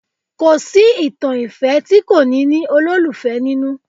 Kò sí ìtàn ìfẹ́ tí kò ní ní olólùfẹ́ nínú